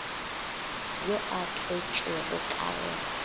yo a thwetšwego ka go